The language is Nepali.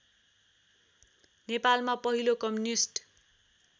नेपालमा पहिलो कम्युनिस्ट